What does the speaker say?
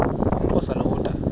umxhosa lo woda